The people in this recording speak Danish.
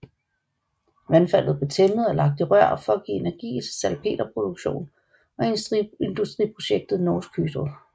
Vandfaldet blev tæmmet og lagt i rør for at give energi til salpeterproduktion og industriprojektet Norsk Hydro